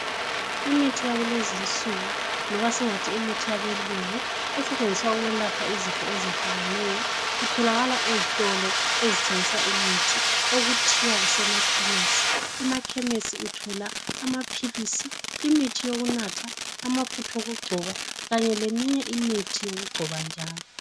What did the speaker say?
Imithi yakulezi insuku loba singathi imithi yabelungu esetshenziswa ukwelapha izifo ezehlukeneyo itholaka ezitolo ezithengisa imithi okuthiwa kusemakhemesi. Emakhemesi uthola amaphilisi imithi yokunatha amafutha okugcoba kanye leminye imithi yokugcoba njalo.